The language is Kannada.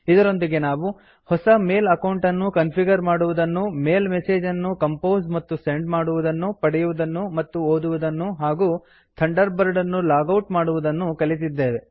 ಇದರೊಂದಿಗೆ ನಾವು ಹೊಸ ಮೇಲ್ ಅಕೌಂಟ್ ಅನ್ನು ಕಾನ್ಫಿಗರ್ ಮಾಡುದನ್ನು ಮೇಲ್ ಮೆಸೇಜ್ ಅನ್ನು ಕಂಪೋಸ್ ಮತ್ತು ಸೆಂಡ್ ಮಾಡುವುದನ್ನು ಪಡೆಯುವುದನ್ನು ಮತ್ತು ಓದುವುದನ್ನು ಹಾಗೂ ಥಂಡರ್ಬರ್ಡ್ ಅನ್ನು ಲಾಗ್ ಔಟ್ ಮಾಡುವುದನ್ನು ಕಲಿತಿದ್ದೇವೆ